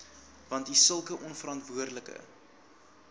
want sulke onverantwoordelike